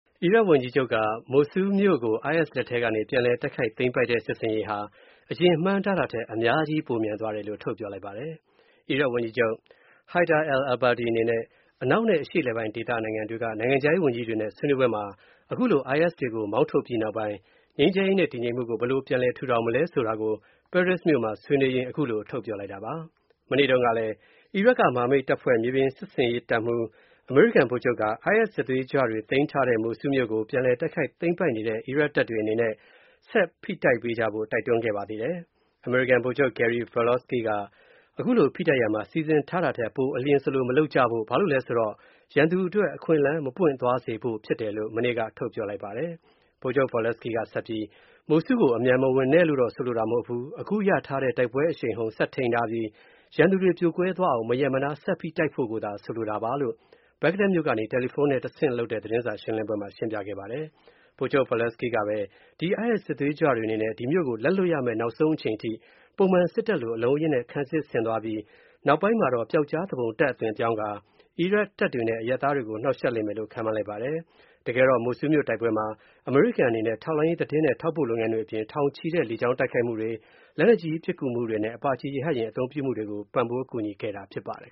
အီရတ် ဝန်ကြီးချုပ်က မိုဆူးမြို.ကို IS လက်ထဲကနေ ပြန်လည်တိုက်ခိုက်သိမ်းပိုက်တဲ့ စစ်ဆင်ရေးဟာ အရင်မှန်းထားတာထက် အများကြီး ပိုမြန်သွားတယ်လို့ ထုတ်ပြောလိုက်ပါတယ်။ အီရတ် ဝန်ကြီးချုပ် Haider al-Abadi အနေနဲ့ အနောက်နဲ့ အရှေ့အလယ်ပိုင်းဒေသ နိုင်ငံတွေက နိုင်ငံခြားရေးဝန်ကြီးတွေနဲ့ ဆွေးနွေးပွဲမှာ ခုလို IS တွေကို မောင်းထုတ်ပြီးနောက်ပိုင်း ငြိမ်းချမ်းရေးနဲ့ တည်ငြိမ်မှုကို ဘယ်လို ပြန်ထူထောင်မလဲဆိုတာ ပဲရစ်မြို.မှာဆွေးနွေးရင်း ခုလိုထုတ်ပြောလိုက်တာပါ။ မနေ့တုန်းကလည်း အီရတ်က မဟာမိတ်တပ်ဖွဲ့ မြေပြင်စစ်ဆင်ရေးတပ်မှူး အမေရိကန်ဗိုလ်ချုပ်က IS စစ်သွေးကြွတွေသိမ်းထားခဲ့တဲ့ မိုဆူးမြို.ကိုပြန်တိုက်ခိုက်သိမ်းပိုက်နေတဲ့ အီရတ်တပ်တွေအနေနဲ့ဆက်ဖိတိုက်ပေးကြဖို့ က တိုက်တွန်းခဲ့ပါသေးတယ်။ အမေရိကန်ဗိုလ်ချုပ် Gary Volesky က ခုလို ဖိတိုက်ရာမှာ စီစဉ်ထားတာထက် ပိုအလျဉ်စလို မလုပ်ကြဖို့၊ ဘာလို့လဲဆိုတော့ ရန်သူအတွက် အခွင့်အလမ်း မပွင့်သွားစေဖို့ ဖြစ်တယ်လို့ မနေ့က ထုတ်ပြောလိုက်ပါတယ်။ ဗိုလ်ချုပ် Volesky က ဆက်ပြီးမိုဆူးကို အမြန်မဝင်နဲ့လို့တော့ ဆိုလိုတာမဟုတ်ဘူး၊ အခုရထားတဲ့ တိုက်ပွဲအရှိန်အဟုန် ဆက်ထိန်းထားပြီးရန်သူတွေ ပြိုကွဲသွားအောင်မရပ်မနား ဆက်ဖိတိုက်ဖို့ကိုသာ ဆိုလိုတာပါလို့ ဘဂ္ဂဒက်မြို.ကနေ တယ်လီဖုန်းနဲ့ တဆင့်လုပ်တဲ့ သတင်းစာရှင်းပွဲမှာ ရှင်းပြခဲ့ပါတယ်။ ဗိုလ်ချုပ် Volesky ကပဲ ဒီ IS စစ်သွေးကြွတွေအနေနဲ့ ဒီမြို့ကိုလက်လွှတ်ရမဲ့ နောက်ဆုံးအချိန်အထိ ပုံမှန်စစ်တပ်လို အလုံးအရင်းနဲ့ ခံစစ်ဆင်သွားပြီး၊ နောက်ပိုင်းမှာတော့ ပျောက်ကြားသူပုန်တပ်အသွင်ပြောင်းကာ အီရတ်တပ်တွေနဲ့ အရပ်သားတွေကို နှောင့်ယှက်လိမ့်မယ်လို့ ခန့်မှန်းလိုက်ပါတယ်။ မိုဆူးမြို့တိုက်ပွဲမှာ အမေရိကန်အနေနဲ့ ထောက်လှမ်းရေးသတင်းနဲ့ ထောက်ပို့လုပ်ငန်းတွေအပြင် ထောင်နဲ့ချီတဲ့ လေကြောင်းတိုက်ခိုက်မှုတွေ၊ လက်နက်ကြီးပစ်ကူမှုတွေနဲ့ အပါ ရဟတ်ယာဉ်တွေကို ပံ့ပိုးကူညီပေးနေတာ ဖြစ်ပါတယ်